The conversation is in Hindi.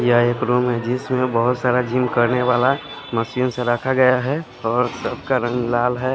यह एक रूम है जिसमें बहोत सारा जिम करने वाला मशीन से रखा गया है और सब का रंग लाल है।